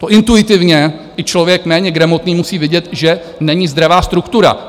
To intuitivně i člověk méně gramotný musí vidět, že není zdravá struktura.